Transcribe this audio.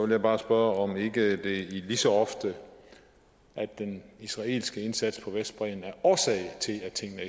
jeg bare spørge om ikke det er lige så ofte at den israelske indsats på vestbredden er årsag til at tingene